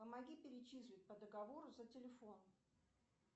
помоги перечислить по договору за телефон